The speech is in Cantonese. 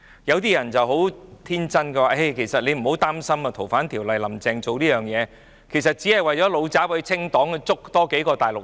有些人很天真地說，其實不用擔心，"林鄭"修訂《逃犯條例》，只是為了"老習""清黨"，要拘捕有關的大陸人。